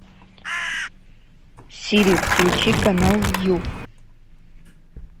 сири включи канал ю